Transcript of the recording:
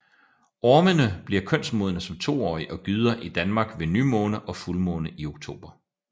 Ormene bliver kønsmodne som toårige og gyder i Danmark ved nymåne og fuldmåne i oktober